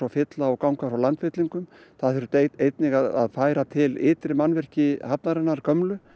fylla og ganga frá landfyllingum það þurfti einnig að færa til ytri mannvirki hafnarinnar gömlu